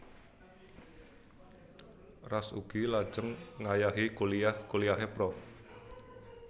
Ras ugi lajeng ngayahi kuliyah kuliyahé prof